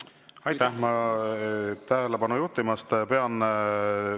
Aitäh tähelepanu juhtimast!